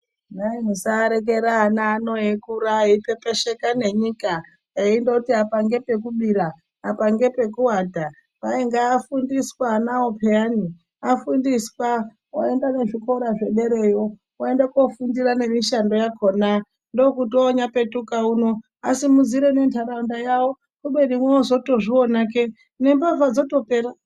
Kwai musarekera ana ano eikura eipepesheka nenyika eindoti apa ngepekubira apa ngepekuata kwai ngaafundiswe anawo pheyani afundiswa oenda nezvikora zvedereyo oenda nekoofundira nemishando yakhona ndookuti oonyapetuka uno asimudzire nentaraunda yawo kubeni woozotozviona kee nembavha dzotopera.